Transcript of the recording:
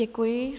Děkuji.